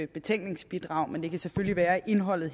betænkningsbidrag men det kan selvfølgelig være at indholdet